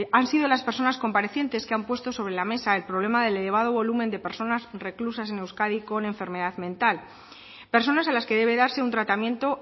han sido las personas comparecientes que han puesto sobre la mesa el problema del elevado volumen de personas reclusas en euskadi con enfermedad mental personas a las que debe darse un tratamiento